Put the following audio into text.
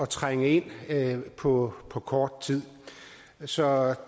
trænge ind på på kort tid så